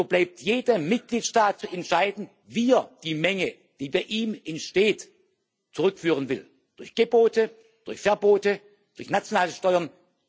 So steht es jedem Mitgliedstaat frei zu entscheiden, wie er die Menge, die bei ihm entsteht, zurückführen will durch Gebote, durch Verbote, durch nationale Steuern.